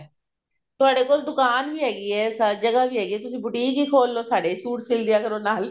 ਤੁਹਾਡੇ ਕੋਲ ਦੁਕਾਨ ਵੀ ਹੈਗੀ ਹੈ ਸਾਰੀ ਜਗ੍ਹਾ ਵੀ ਹੈਗੀ ਹੈ ਤੁਸੀਂ boutique ਹੀ ਖੋਲ ਲਓ ਸਾਡੇ ਹੀ ਸੂਟ ਸਿਲ ਦਿਆ ਕਰੋ ਨਾਲ